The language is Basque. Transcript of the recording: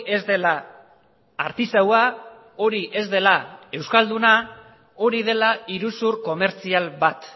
ez dela artisaua hori ez dela euskalduna hori dela iruzur komertzial bat